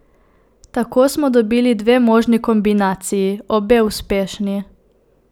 Tako smo dobili dve možni kombinaciji, obe uspešni!